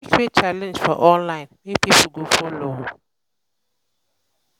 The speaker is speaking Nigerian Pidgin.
you fit create challenge for online wey pipo go follow